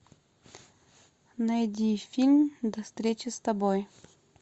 найди фильм до встречи с тобой